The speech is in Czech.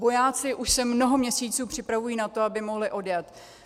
Vojáci už se mnoho měsíců připravují na to, aby mohli odjet.